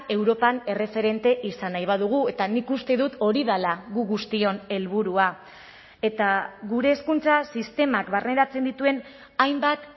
europan erreferente izan nahi badugu eta nik uste dut hori dela gu guztion helburua eta gure hezkuntza sistemak barneratzen dituen hainbat